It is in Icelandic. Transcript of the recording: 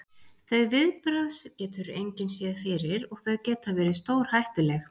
Þau viðbrögð getur engin séð fyrir og þau geta verið stórhættuleg.